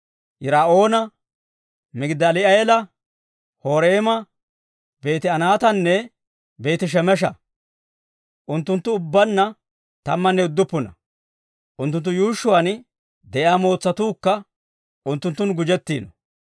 Yir"oona, Migidaali'eela, Horeema, Beeti-Anaatanne Beeti-Shemesha. Unttunttu ubbaanna tammanne udduppuna; unttunttu yuushshuwaan de'iyaa mootsatuukka unttunttun gujjettiino.